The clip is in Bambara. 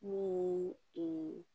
N'o ye